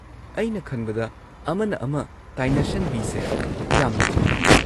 ꯑꯩꯅ ꯈꯟꯕꯗ ꯑꯃꯅ ꯑꯃ ꯇꯥꯏꯅꯁꯟꯕꯤꯁꯦ ꯌꯥꯝꯅ ꯊꯣꯛꯢ ꯫